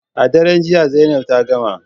A daren jiya Zainab ta gama